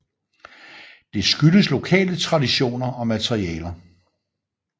Det skyldes lokale traditioner og materialer